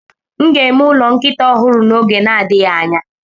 M ga-eme ụlọ nkịta ọhụrụ n'oge na-adịghị anya.